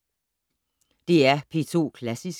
DR P2 Klassisk